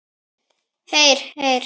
Heyr, heyr.